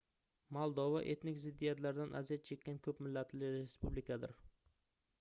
moldova etnik ziddiyatlardan aziyat chekkan koʻp millatli respublikadir